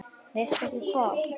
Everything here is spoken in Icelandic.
Veistu ekki hvað?